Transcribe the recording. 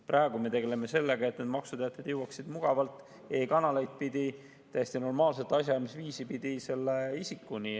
Praegu me tegeleme sellega, et maksuteated jõuaksid mugavalt e-kanaleid pidi, täiesti normaalset asjaajamise viisi kasutades isikuni.